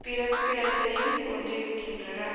பிறப்பிடத்தையும் கொண்டிருக்கின்றன